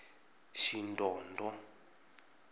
shidondho